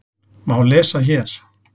má lesa hér.